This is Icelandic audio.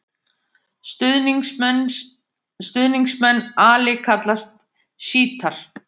Stuðningsmenn Ali kallast sjítar.